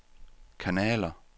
kanaler